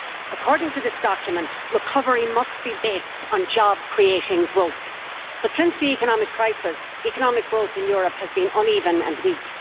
According to this document, recovery must be based on job creating growth but, since the economic crisis, economic growth in Europe has been uneven and weak.